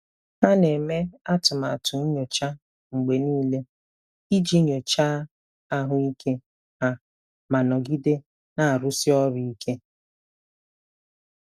Ha na-eme atụmatụ nyocha mgbe niile iji nyochaa ahụike ha ma nọgide na-arụsi ọrụ ike.